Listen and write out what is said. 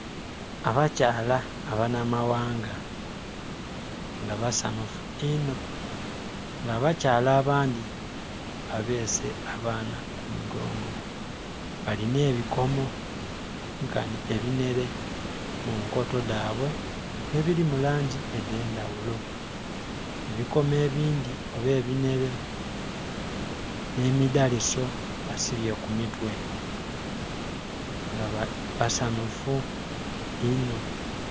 Abakyala abanamawanga nga basanhufu inho nga abakyala abandhi babeese abaana ku migongo balina ebikomo nkani ebinhere munkoto dhabwe ebiri mu langi edh'endhaghulo. Ebikomo ebindhi oba ebinhere nh'emidhaliso basibye ku mitwe nga basanhufu inho.